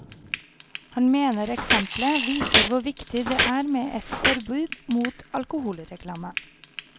Han mener eksemplet viser hvor viktig det er med et forbud mot alkoholreklame.